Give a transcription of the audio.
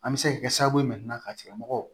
An bɛ se ka kɛ sababu ye ka tigilamɔgɔ